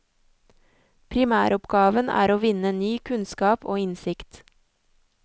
Primæroppgaven er å vinne ny kunnskap og innsikt.